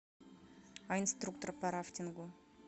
а инструктор по рафтингу